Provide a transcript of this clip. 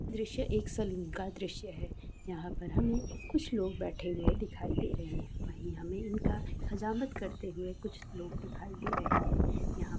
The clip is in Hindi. दृश्य एक सलोन का दृश्य है यहां पर हमें कुछ लोग बाठी हुए दिखाई दे रहे हैं वही हमें इनका हजामत करते हुए कुछ लोग दिखाई दे रहे हैं यहां पर बड़े बड़ लगाया गए हैं उपेर से हमन रंग बी-रेंज बलन लगे हुए दिखे दे रहे हैं ऐसा लग रहा है जैसा कि इसका उद्घाटन नया नया हुआ है ।